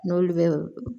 N'olu bɛ